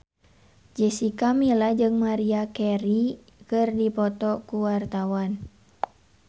Jessica Milla jeung Maria Carey keur dipoto ku wartawan